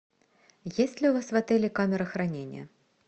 есть ли у вас в отеле камера хранения